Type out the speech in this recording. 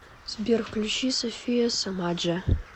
сбер включи софия сомаджо